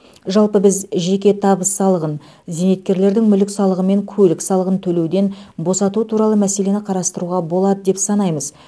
жалпы біз жеке табыс салығын зейнеткерлердің мүлік салығы мен көлік салығын төлеуден босату туралы мәселені қарастыруға болады деп санаймыз